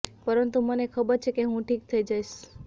પરંતુ મને ખબર છે કે હું ઠીક થઈ જઈશ